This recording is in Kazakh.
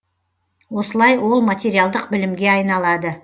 осылай ол материалдық білімге айналады